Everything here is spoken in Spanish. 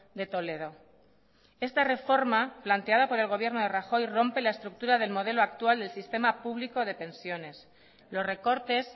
de toledo esta reforma planteada por el gobierno de rajoy rompe la estructura del modelo actual del sistema público de pensiones los recortes